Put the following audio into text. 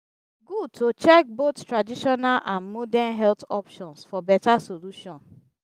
e good to check both traditional and modern health options for beta solution.